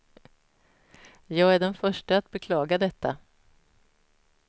Jag är den förste att beklaga detta.